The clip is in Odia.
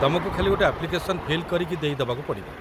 ତମକୁ ଖାଲି ଗୋଟେ ଆପ୍ଲିକେସନ୍‌ ଫିଲ୍ କରିକି ଦେଇ ଦେବାକୁ ପଡ଼ିବ ।